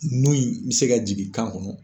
Nun in bɛ se ka jigin kan kɔnɔ